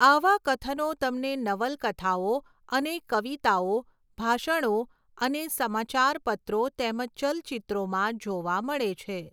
આવા કથનો તમને નવલકથાઓ અને કવિતાઓ, ભાષણો અને સમાચાર પત્રો તેમજ ચલચિત્રોમાં જોવા મળે છે.